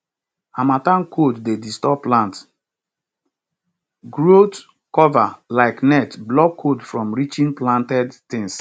harmattan cold dey disturb plant growthcover like net block cold from reaching planted things